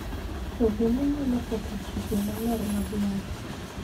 To bende nyalo ketho chike maler mag loch .